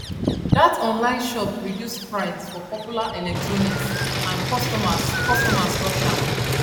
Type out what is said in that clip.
that online shop reduce price for popular electronics and customers customers rush am